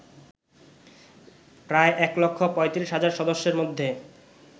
প্রায় এক লক্ষ ৩৫ হাজার সদস্যের মধ্যে